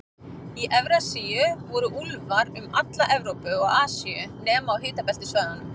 Í Evrasíu voru úlfar um alla Evrópu og Asíu, nema á hitabeltissvæðunum.